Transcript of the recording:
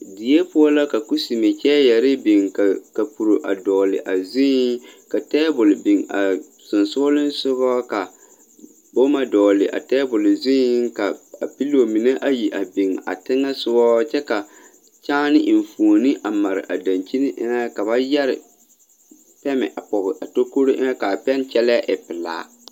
Die poɔ la ka kusime kyɛɛyɛre biŋ ka kapuro a dɔɔle a zuŋ ka tabole biŋ a seŋsugliŋsugɔ ka boma dɔɔle a tabol zuiŋ ka pilo mine ayi a biŋ a teŋɛsugɔ a kyɛ ka kyaane enfuone a mare a dankyini eŋɛ ka ba yɛre pɛmɛ a pɔge a tokoro eŋɛ kaa pɛnkyɛlɛɛ e pelaa.